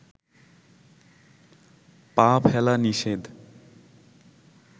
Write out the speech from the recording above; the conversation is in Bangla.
পা ফেলা নিষেধ